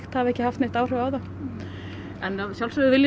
hafi ekki haft áhrif á þá en við viljum